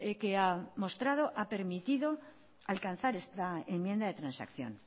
que ha mostrado ha permitido alcanzar esta enmienda de transacción